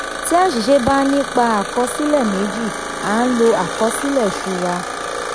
tí àṣìṣe bá nípa àkọsílẹ méjì a n lo àkọsílẹ ìṣura.